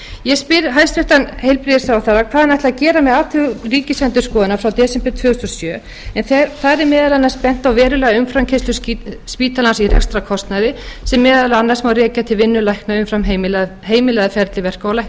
ég spyr hæstvirtur heilbrigðisráðherra hvað hann ætli að gera með athugasemdir ríkisendurskoðunar frá desember tvö þúsund og sjö en þar er meðal annars bent á verulega umframkeyrslu spítalans í rekstrarkostnaði sem meðal annars má rekja til vinnu lækna umfram heimilað ferli verka